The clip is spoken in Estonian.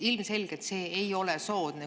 Ilmselgelt see ei ole soodne.